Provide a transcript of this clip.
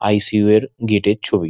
ই .C .O -এর gate -এর ছবি।